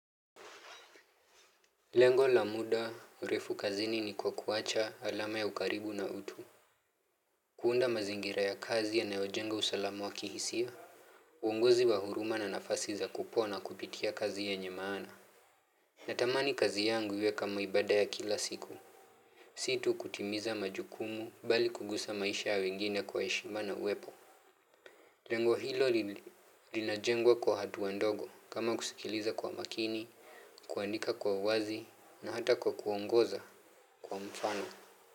Lengo la muda refu kazini ni kwa kuacha alama ya ukaribu na utu. Kuunda mazingira ya kazi yanayojenga usalamu wa kihisia. Uongozi wa huruma na nafasi za kupona kupitia kazi yenye maana. Na tamani kazi yangu iwe kama ibada ya kila siku. Si tu kutimiza majukumu bali kuguza maisha ya wengine kwa heshima na uwepo. Lengo hilo linajengwa kwa hatua ndogo kama kusikiliza kwa makini, kuandika kwa uwazi na hata kwa kuongoza kwa mfano.